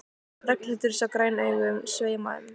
Ragnhildur sá græn augun sveima um.